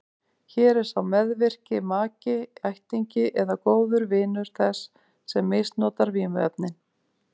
Hér er sá meðvirki maki, ættingi eða góður vinur þess sem misnotar vímuefnin.